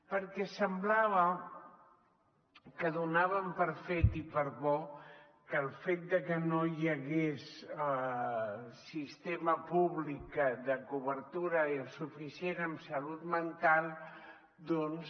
perquè semblava que donaven per fet i per bo que el fet de que no hi hagués sistema públic de cobertura suficient en salut mental doncs